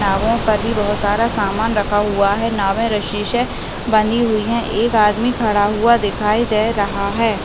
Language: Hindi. नावों पर भी बहुत सारा समान रखा हुआ हैं नावे रस्सी से बंधी हुई हैं एक आदमी खड़ा हुआ दिखाई दे रहा हैं ।